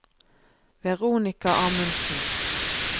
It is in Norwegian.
Veronica Amundsen